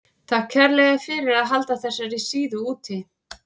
Takk kærlega fyrir að halda þessari síðu úti.